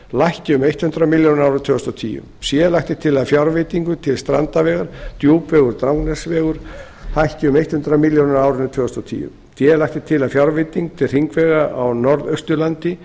lækki um hundrað milljónir á árinu tvö þúsund og tíu c lagt er til að fjárveiting til strandavegar hækki um hundrað milljónir á árinu tvö þúsund og tíu d lagt er til að fjárveiting til hringvegar á norðausturlandi